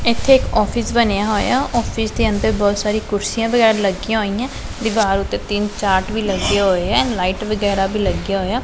ਇੱਥੇ ਇੱਕ ਆਫਿਸ ਬਣਿਆ ਹੋਇਆ ਆਫਿਸ ਦੇ ਅੰਦਰ ਬਹੁਤ ਸਾਰੀ ਕੁਰਸੀਆਂ ਵਗੈਰਾ ਲੱਗੀਆਂ ਹੋਈਐਂ ਦੀਵਾਰ ਉੱਤੇ ਤਿੰਨ ਚਾਰਟ ਵੀ ਲੱਗੇ ਹੋਏ ਐ ਲਾਈਟ ਵਗੈਰਾ ਵੀ ਲੱਗਿਆ ਹੋਇਆ।